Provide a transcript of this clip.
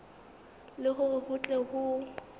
le hore ho tle ho